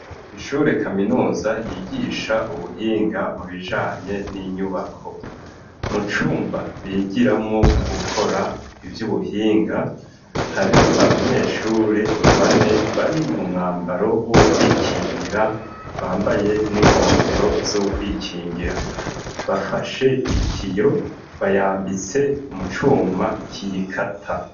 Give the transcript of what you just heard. Ishure kaminuza ryigisha ubuhinga mu bijanye n'inyubako. Mu cumba bigiramwo gukora ivy'ubuhinga, hari abanyeshuri bane bari mu mwambaro w'ukwikingira bambaye n'inkofero z'ukwikingira. Bafashe itiyo bayambitse mu cuma kiyikata.